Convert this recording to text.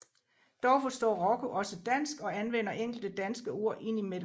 Dog forstår Rocco også dansk og anvender enkelte danske ord ind i mellem